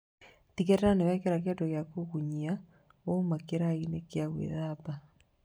Tigĩrĩra nĩwehaka kĩndũ gĩa kũgunyia wauma kĩrai-inĩ gĩa gwĩthamba